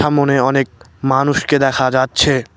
সামোনে অনেক মানুষকে দেখা যাচ্ছে।